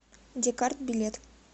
декарт билет